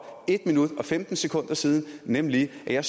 en minut og femten sekunder siden nemlig at jeg